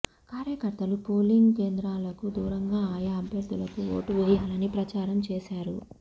కార్యకర్తలు పోలింగ్ కేంద్రాలకు దూరంలో ఆయా అభ్యర్థులకు ఓటు వేయాలని ప్రచారం చేశారు